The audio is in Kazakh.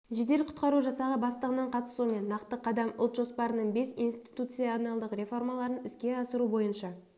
жедел құтқару жасағы бастығының қатысуымен нақты қадам ұлт жоспарының бес институционалдық реформаларын іске асыру бойынша